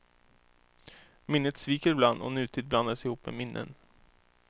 Minnet sviker ibland och nutid blandas ihop med minnen.